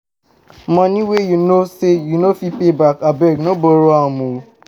Money wey you know say you no go fit pay back abeg no borrow am o